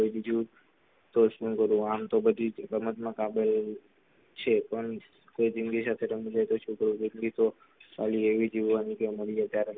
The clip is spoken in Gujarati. સાચા માં બોલું આમ તો બહી જ રમત માં કાબીલ છે પણ કોઈ ની જિંદગી સાથે રમી જાયે તો છોકરા ની જિંદગી તો સાલી એવી જીવાની કે મળી જાય ત્યારે બીજું